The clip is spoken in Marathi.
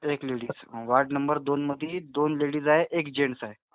एक लेडीज. वार्ड नंबर दोन मधी दोन लेडीज आहेत, एक जेन्ट्स आहे.